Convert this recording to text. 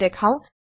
আমি দেখাও